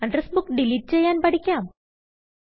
address Bookഡിലീറ്റ് ചെയ്യാൻ പഠിക്കാം